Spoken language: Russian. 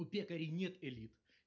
у пекарей нет элит